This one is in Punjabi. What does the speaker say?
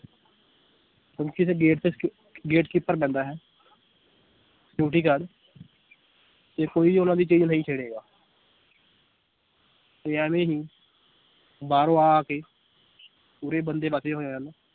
ਹੁਣ ਕਿਸੇ gate ਤੇ ਸ gatekeeper ਬਹਿੰਦਾ ਹੈ security guard ਤੇ ਕੋਈ ਉਹਨਾਂ ਦੀ ਚੀਜ਼ ਨਹੀਂ ਛੇੜੇਗਾ ਵੀ ਐਵੇਂ ਨੀ ਬਾਹਰੋਂ ਆ ਆ ਕੇ ਉਰੇ ਬੰਦੇ ਵਸੇ ਹੋਏ ਹਨ l